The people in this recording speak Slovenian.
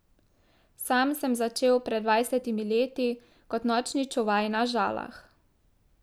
Sam sem začel pred dvajsetimi leti kot nočni čuvaj na Žalah.